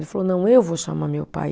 Ele falou, não, eu vou chamar meu pai.